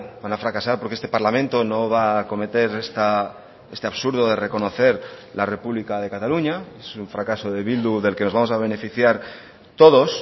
van a fracasar porque este parlamento no va a cometer este absurdo de reconocer la república de cataluña es un fracaso de bildu del que nos vamos a beneficiar todos